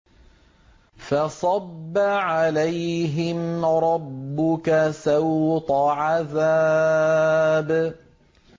فَصَبَّ عَلَيْهِمْ رَبُّكَ سَوْطَ عَذَابٍ